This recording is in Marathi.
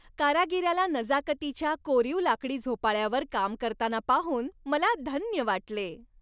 कारागिराला नजाकतीच्या कोरीव लाकडी झोपाळ्यावर काम करताना पाहून मला धन्य वाटले.